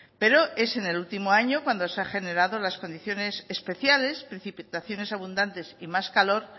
pero es en el último año cuando se ha generado las condiciones especiales precipitaciones abundantes y más calor